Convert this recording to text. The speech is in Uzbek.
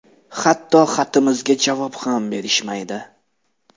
Hatto xatimizga javob ham berishmaydi.